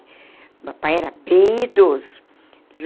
O papai era bem idoso.